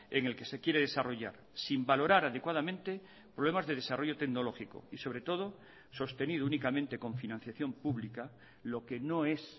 en el que se quiere desarrollar sin valorar adecuadamente problemas de desarrollo tecnológico y sobre todo sostener únicamente con financiación pública lo que no es